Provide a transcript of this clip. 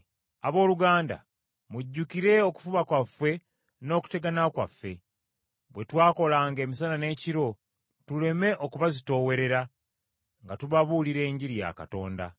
Abooluganda mujjukire okufuba kwaffe n’okutegana kwaffe; bwe twakolanga emisana n’ekiro tuleme okubazitoowerera, nga tubabuulira Enjiri ya Katonda.